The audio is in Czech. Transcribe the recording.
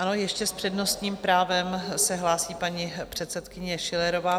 Ano, ještě s přednostním právem se hlásí paní předsedkyně Schillerová.